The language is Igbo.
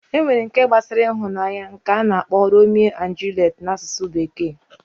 Enwere nke gbasara ịhụnanya ana akpo Romeo and Juliet na asusu bekee